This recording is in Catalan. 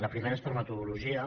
la primera és per metodologia